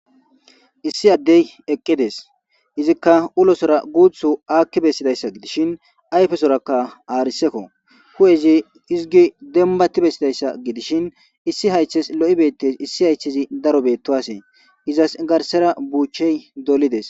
Issi addey eqqides. Izikka ulosora guuthu aakki bessidayssa gidishin ayfesorakka aarisekko huu7ezi hizigi dembatti bessidayssa gidishin issi haythes lo7i beettes issi haychezi daro beettowasee. Izas garssera buuchey dolides.